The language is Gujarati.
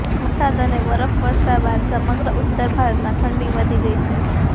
વરસાદ અને બરફવર્ષા બાદ સમગ્ર ઉત્તર ભારતમાં ઠંડી વધી ગઇ છે